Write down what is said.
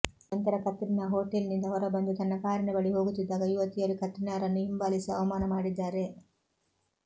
ನಂತರ ಕತ್ರಿನಾ ಹೋಟೆಲ್ನಿಂದ ಹೊರಬಂದು ತನ್ನ ಕಾರಿನ ಬಳಿ ಹೋಗುತ್ತಿದ್ದಾಗ ಯುವತಿಯರು ಕತ್ರಿನಾರನ್ನು ಹಿಂಬಾಲಿಸಿ ಅವಮಾನ ಮಾಡಿದ್ದಾರೆ